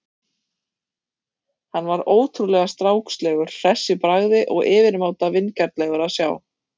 Hann var ótrúlega strákslegur, hress í bragði og yfirmáta vingjarnlegur að sjá.